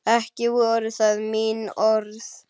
Ekki voru það mín orð!